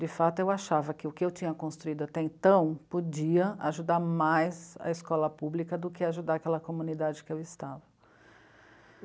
De fato, eu achava que o que eu tinha construído até então podia ajudar mais a escola pública do que ajudar aquela comunidade que eu estava.